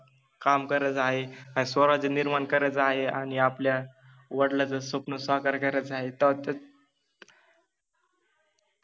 काम करायच आहे, आणि स्वराज्य निर्माण करायच आहे आणि आपल्या वडिलाच स्वप्न साकार करायच आहे त्यातच,